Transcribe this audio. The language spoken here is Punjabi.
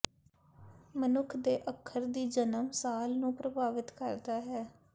ਮਨੁੱਖ ਦੇ ਅੱਖਰ ਦੀ ਜਨਮ ਸਾਲ ਨੂੰ ਪ੍ਰਭਾਵਿਤ ਕਰਦਾ ਹੈ